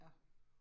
Ja